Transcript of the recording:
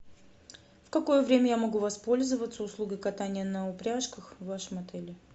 в какое время я могу воспользоваться услугой катания на упряжках в вашем отеле